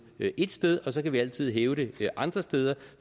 ét sted og så kan vi altid hæve det andre steder